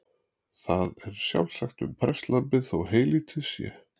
Það er sjálfsagt um prestlambið þó heylítið sé.